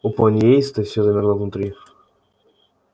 у пониейста все замерло внутри